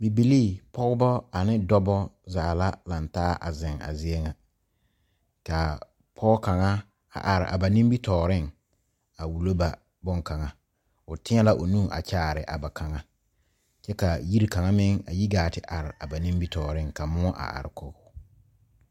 Bibilii, pɔgɔbɔ ane dɔbɔ zaa la laŋtaa a zeŋ a zie ŋa. Ka pɔgɔ kanga a are a ba nimitooreŋ a wulo ba bon kanga. O teɛ la o nu kyaare a ba kanga. Kyɛ ka yire kanga meŋ a yi gaa te are a ba nimitooreŋ ka muo a are kɔ